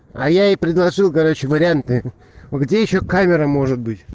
а я и предложил короче варианты где ещё камера может быть